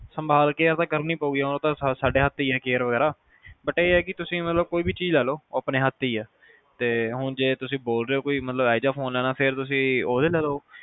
ਸੰਭਾਲ care ਤਾਂ ਕਰਨੀ ਪਾਊਗੀ ਉਹ ਤਾ ਸਾਡੇ ਹੱਥ ਤੇ ਹੀ ਆ care ਵਗੈਰਾ but ਇਹ ਆ ਤੁਸੀਂ ਮਤਲਬ ਕੋਈ ਵੀ ਚੀਜ਼ ਲੇਲੋ ਉਹ ਆਪਣੇ ਹੱਥ ਤੇ ਹੀ ਆ ਤੇ ਹੁਣ ਜੇ ਤੁਸੀਂ ਬੋਲ ਰਹੇ ਓ ਕੇ ਕੋਈ ਇਹੋ ਜਿਹਾ ਫੋਨ ਲੈਣਾ ਤੁਸੀਂ ਉਹਦਾ ਲੇਲੋ